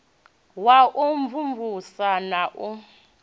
wa u mvumvusa na u